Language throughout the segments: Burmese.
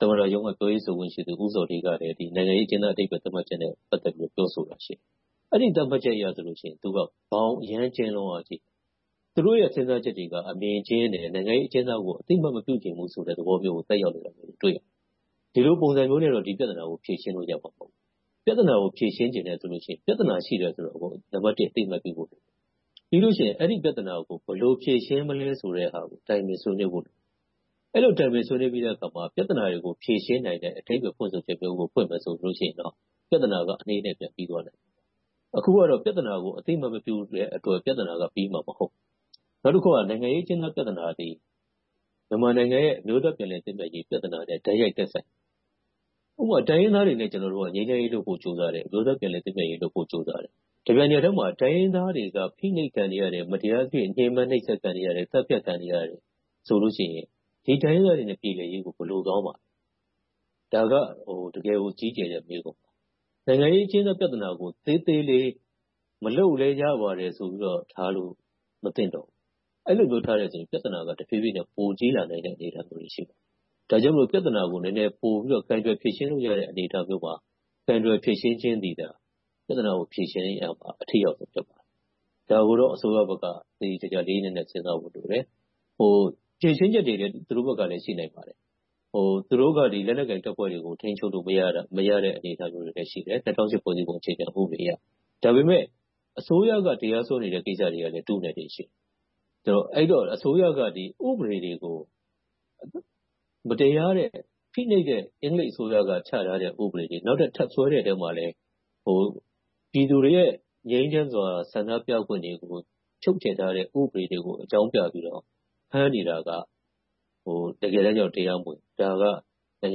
သမ္မတရုံးက ပြောရေးဆိုခွင့်ရှိသူ ဦးဇော်ဌေးကလည်း နိုင်ငံရေးအကျဉ်းသား အဓိပ္ပါယ်သတ်မှတ်ချက်နဲ့ ပတ်သက်ပြီးတော့ ပြောဆိုတာ ရှိတယ်။ အဲဒီသတ်မှတ်ချက်အရဆိုရင် သူက ဘောင်အရမ်းကျဉ်းလွန်အားကြီးတယ်။ သူတို့ရဲ့ စဉ်းစားချက်တွေက အမြင်ကျဉ်းတယ်။ နိုင်ငံရေးအကျဉ်းသားကို အသိအမှတ် မပြုချင်ဘူးဆိုတဲ့ သဘောမျိုးကို သက်ရောက်နေတာကို တွေ့ရတယ်။ ဒီလိုပုံစံမျိုးနဲ့တော့ ဒီပြဿနာကို ဖြေရှင်းလို့ရမှာ မဟုတ်ဘူး။ ပြဿနာကို ဖြေရှင်းချင်တယ်ဆိုရင် ပြဿနာ ရှိနေတယ်ဆိုတာကို နံပတ်တစ် အသိအမှတ်ပြုဖို့လိုတယ်။ ပြီးနောက် အဲဒီပြဿနာကို ဘယ်လိုဖြေရှင်းမလဲဆိုတဲ့ဟာကို တိုင်ပင်ဆွေးနွေးဖို့လိုတယ်။ အဲဒီလို တိုင်ပင်ဆွေးနွေးပြီးတဲ့အခါမှာ ပြဿနာတွေကို ဖြေရှင်းနိုင်တဲ့ အဓိပ္ပါယ်ဖွင့်ဆိုချက်ကို ဖွင့်မယ်ဆိုရင်တော့ ပြဿနာက အနှေးနဲ့အမြန် ပြီသွားလိမ့်မယ်။ အခုကတော့ ပြဿနာကို အသိအမှတ်မပြုတဲ့အတွက် ပြဿနာက ပြီမှာမဟုတ်ဘူး။ နောက်တစ်ခုက နိုင်ငံရေးအကျဉ်းသား ပြဿနာတွေက မြန်မာနိုင်ငံရဲ့ အမျိုးသားပြန်လည်သင့်မြတ်ရေး ပြဿနာနဲ့ တိုက်ရိုက်သက်ဆိုင်နေတယ်။ ဥပမာ တိုင်းရင်းသားတွေနဲ့ ကျနော်တို့က ငြိမ်းချမ်းရေးလုပ်ဖို့ ကြိုးစားတယ်။ အမျိုးသားပြန်လည်သင့်မြတ်ရေးလုပ်ဖို့ ကြိုးစားတယ်။ တပြိုင်နက်ထဲမှာ တိုင်းရင်းသားတွေ ဖိနှိပ်ခံနေရတယ်။ သတ်ဖြတ်ခံနေရတယ်ဆိုလို့ရှိရင် ဒီတိုင်းရင်းသားတွေနဲ့ ပြေလည်ရေးကို ဘယ်လိုသွားမလဲ။ ဒါက တကယ်ကို ကြီးကျယ်တဲ့မေးခွန်း။ နိုင်ငံရေးအကျဉ်းသားပြဿနာကို သေးသေးလေး၊ မလုပ်လဲရပါတယ်ဆိုပြီးတော့ ထားလို့ မသင့်တော်ဘူး။ အဲဒီလိုမျိုးထားရင် ပြဿနာက တဖြည်းဖြည်းနဲ့ ပိုကြီးလာနိုင်တဲ့ အနေအထားမျိုးတွေ ရှိပါတယ်။ ဒါကြောင့်မို့ ပြဿနာကို ပိုပြီးတော့ ကိုင်တွယ်ဖြေရှင်းလို့ရတဲ့ အနေအထားမျိုးမှာ ကိုင်တွယ်ဖြေရှင်းခြင်းသည်သာ ပြဿနာကို ဖြေရှင်းခြင်းက အထိရောက်ဆုံး ဖြစ်တယ်။ ဒါကိုတော့ အစိုးရဘက်က သေသေချာချာ လေးလေးနက်နက် စဉ်းစားဖို့လိုတယ်။ ဖြေရှင်းချက်တွေလည်း သူတို့ဘက်က ရှိနိုင်ပါတယ်။ သူတို့က လက်နက်ကိုင်တပ်ဖွဲ့တွေကို ထိန်းချုပ်လို့ မရတဲ့ အနေအထားမျိုးတွေလည်း ရှိတယ်။ ၂၀၀၈ ဖွဲ့စည်းပုံဥပဒေအရ ဒါပေမဲ့ အစိုးရက တရားစွဲနေတဲ့ ကိစ္စတွေကလည်း ထုနဲ့ထည်နဲ့ ရှိတယ်။ အဲဒီတော့ အစိုးရက ဥပဒေတွေကို မတရားတဲ့ ဖိနှိပ်တဲ့ အင်္ဂလိပ်အစိုးရ ချထားတဲ့ ဥပဒေတွေ။ နောက်ထပ်ထပ်ဆွဲတဲ့တဲ့ ဥပဒေတွေထဲမှာလည်း ပြည်သူတွေရဲ့ ငြိမ်းချမ်းစွာ ဆန္ဒပြခွင့်တွေကို ချုပ်ချယ်ထားတဲ့ ဥပဒေတွေကို အကြောင်းပြပြီးတော့ ဖမ်းနေတာက တကယ်တမ်းကြတော့ တရားမဝင်ဘူး။ ဒါက နိုင်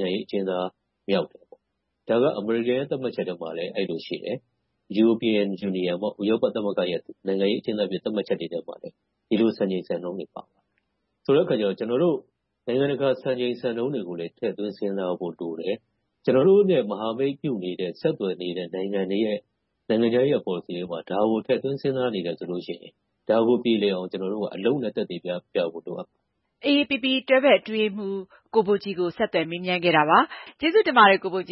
ငံရေးအကျဉ်းသားမြောက်တယ်။ ဒါက အမေရိကန်ရဲ့ သတ်မှတ်ချက်ထဲမှာလဲ အဲဒီလိုရှိတယ်။ ဥရောပသမဂ္ဂရဲ့ နိုင်ငံရေးအကျဉ်းသားအဖြစ် သတ်မှတ်ချက်ထဲမှာလည်း ဒီလိုစံချိန်စံနှုန်းတွေ ပါတယ်။ ဆိုတဲ့အခါကြတော့ ကျနော်တို့ နိုင်ငံတကာ စံချိန်စံနှုန်းတွေကို ထည့်သွင်းစဉ်းစားဖို့လိုတယ်။ ကျနော်တို့နဲ့ မဟာမိတ်ပြုနေတဲ့ ဆက်သွယ်နေတဲ့ နိုင်ငံတွေရဲ့ နိုင်ငံခြားရေးရာ ပေါ်လစီထဲမှာ ဒါကို ထည့်သွင်းစဉ်းစားနေတယ်ဆိုရင် ဒါကိုပြေလည်အောင် ကျနော်တို့က အလုပ်နဲ့ သက်သေပြဖို့ လိုအပ်ပါတယ်။ မအင်ကြင်းနိုင် -- AAPP တွဲဘက်အထွေထွေအတွင်းရေးမှူး ကိုဘိုကြည် ကို ဆက်သွယ်မေးမြန်းခဲ့တာပါ။ ကျေးဇူးတင်ပါတယ် ကိုဘိုကြ